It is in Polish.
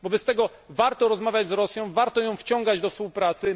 Wobec tego warto rozmawiać z Rosją, warto ją wciągać do współpracy.